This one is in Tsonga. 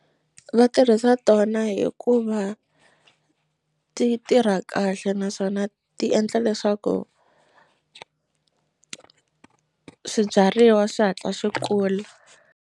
Va tirhisa tona hikuva ti tirha kahle naswona ti endla leswaku swibyariwa swi hatla swi kula.